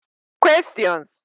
Questions